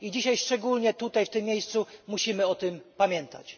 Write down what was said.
I dzisiaj szczególnie tutaj, w tym miejscu, musimy o tym pamiętać.